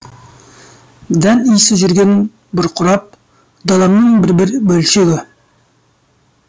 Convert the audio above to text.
дән исі жүрген бұрқырап даламның бір бір бөлшегі